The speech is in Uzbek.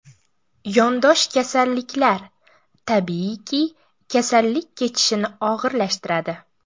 Yondosh kasalliklar, tabiiyki, kasallik kechishini og‘irlashtiradi.